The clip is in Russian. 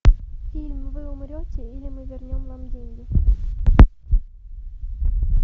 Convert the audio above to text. фильм вы умрете или мы вернем вам деньги